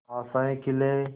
आशाएं खिले